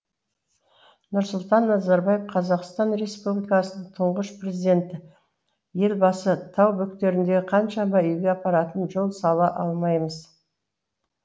нұрсұлтан назарбаев қазақстан республикасының тұңғыш президенті елбасы тау бөктеріндегі қаншама үйге апаратын жол сала алмаймыз